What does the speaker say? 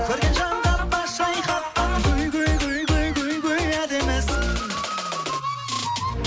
көрген жанға бас шайқатқан әдемісің